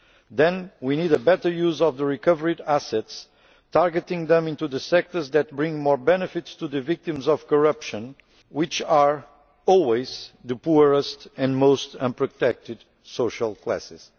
Then we need a better use of the recovered assets, targeting them at the sectors that bring more benefits to the victims of corruption, which are always the poorest and most unprotected social classes.